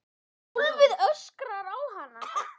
Gólfið öskrar á hana.